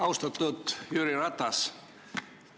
Austatud Jüri Ratas!